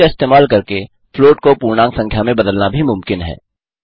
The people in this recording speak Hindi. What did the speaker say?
इंट का इस्तेमाल करके फ्लॉट को पूर्णांक संख्या में बदलना भी मुमकिन है